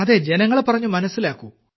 ജനങ്ങളെ പറഞ്ഞു മനസ്സിലാക്കൂ